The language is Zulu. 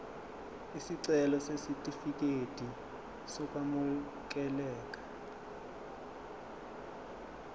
isicelo sesitifikedi sokwamukeleka